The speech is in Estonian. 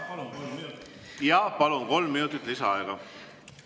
Jaa, palun, kolm minutit lisaaega!